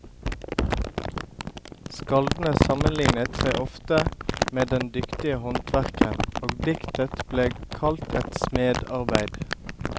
Skaldene sammenlignet seg ofte med den dyktige håndverkeren, og diktet ble kalt et smedarbeid.